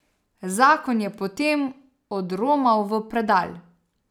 Zakon je potem odromal v predal.